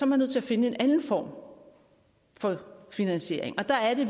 man nødt til at finde en anden form for finansiering og der er det